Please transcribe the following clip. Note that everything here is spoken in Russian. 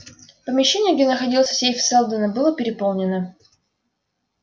помещение где находился сейф сэлдона было переполнено